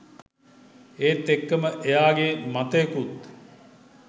ඒත් එක්කම එයාගෙ මතයකුත්